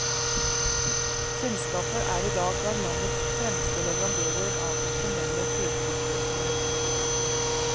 Selskapet er i dag blant landets fremste leverandører av profesjonelle førtrykkløsninger.